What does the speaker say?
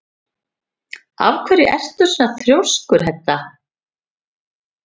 Af hverju ertu svona þrjóskur, Hedda?